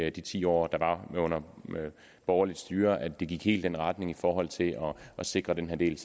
i de ti år hvor der var borgerligt styre at det gik helt i den retning i forhold til at sikre den her del